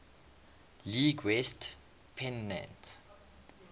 league west pennant